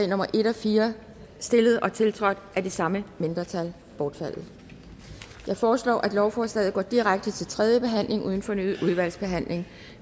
nummer en og fire stillet og tiltrådt af det samme mindretal bortfaldet jeg foreslår at lovforslaget går direkte til tredje behandling uden fornyet udvalgsbehandling